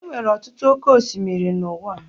Enwere ọtụtụ oké osimiri n'uwa